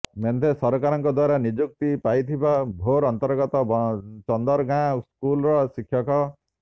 ମେନ୍ଧେ ସରକାରଙ୍କ ଦ୍ୱାରା ନିଯୁକ୍ତି ପାଇଥିବା ଭୋର୍ ଅନ୍ତର୍ଗତ ଚନ୍ଦର ଗାଁ ସ୍କୁଲ୍ର ଶିକ୍ଷକ